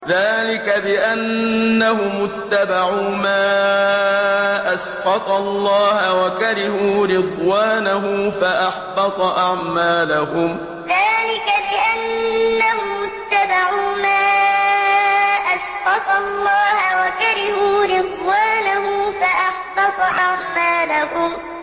ذَٰلِكَ بِأَنَّهُمُ اتَّبَعُوا مَا أَسْخَطَ اللَّهَ وَكَرِهُوا رِضْوَانَهُ فَأَحْبَطَ أَعْمَالَهُمْ ذَٰلِكَ بِأَنَّهُمُ اتَّبَعُوا مَا أَسْخَطَ اللَّهَ وَكَرِهُوا رِضْوَانَهُ فَأَحْبَطَ أَعْمَالَهُمْ